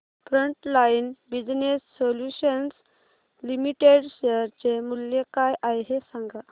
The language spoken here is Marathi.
frontline business solutions limited share चे मूल्य काय आहे हे सांगा